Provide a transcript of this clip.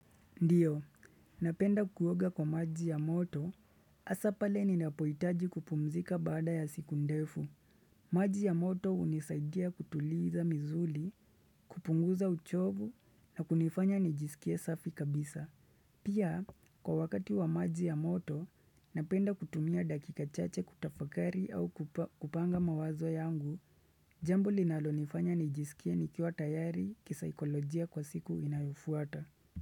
Ndiyo, napenda kuoga kwa maji ya moto, hasa pale ninapohitaji kupumzika baada ya siku ndefu. Maji ya moto hunisaidia kutuliza mizuli, kupunguza uchovu na kunifanya nijisikie safi kabisa. Pia, kwa wakati wa maji ya moto, napenda kutumia dakika chache kutafakari au kupanga mawazo yangu, jambo linalonifanya nijisikie nikiwa tayari kisaikolojia kwa siku inayofuata.